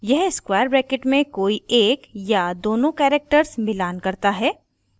यह square brackets में कोई एक या दोनों characters मिलान करता है